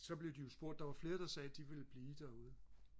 så blev de jo spurgt der var flere der sagde at de ville blive derude